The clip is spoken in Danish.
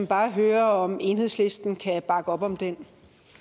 bare høre om enhedslisten kan bakke op om den